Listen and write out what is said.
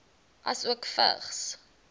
asook vigs